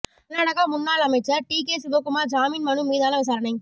கர்நாடக முன்னாள் அமைச்சர் டிகே சிவகுமார் ஜாமீன் மனு மீதான விசாரணை